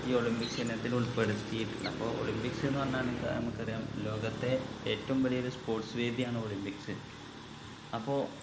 ഈ olympics ഇനത്തിൽ ഉൾപ്പെടുത്തിട്ടുണ്ട് അപ്പൊ olympics ന്ന് പറഞ്ഞ നിങ്ക് നമുക്കറിയാം ലോകത്തെ ഏറ്റവും വലിയൊരു sports വേദിയാണ് olympics അപ്പൊ